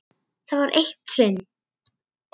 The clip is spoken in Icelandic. Það var eitt sinn.